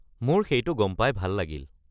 মোৰ সেইটো গম পাই ভাল লাগিল।